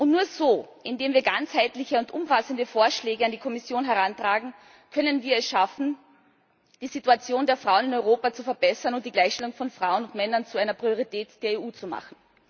Und nur so, indem wir ganzheitliche und umfassende Vorschläge an die Kommission herantragen, können wir es schaffen, die Situation der Frau in Europa zu verbessern und die Gleichstellung von Frauen und Männern zu einer Priorität der EU zu machen.